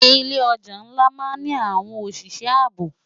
Ilé òjá nlá má ni áwòn óṣiṣè àábó